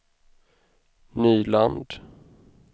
Nyland